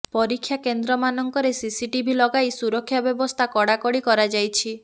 ପରୀକ୍ଷା କେନ୍ଦ୍ରମାନଙ୍କରେ ସିସିଟିଭି ଲଗାଇ ସୁରକ୍ଷା ବ୍ୟବସ୍ଥା କଡ଼ାକଡ଼ି କରାଯାଇଛି